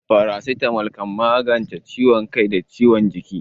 Farasitamol kan magance ciwon kai da ciwon jiki.